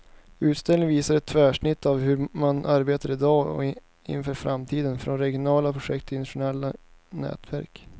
Utställningen visar ett tvärsnitt av hur man arbetar i dag och inför framtiden, från regionala projekt till internationella nätverk.